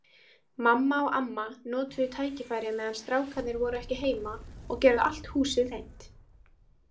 Mamma og amma notuðu tækifærið meðan strákarnir voru ekki heima og gerðu allt húsið hreint.